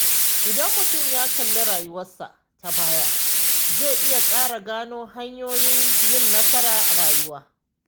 Idan mutum ya kalli rayuwarsa ta baya, zai iya ƙara gano hanyoyin yin nasara a rayuwa.